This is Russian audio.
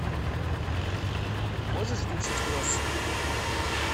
можешь включить кроссы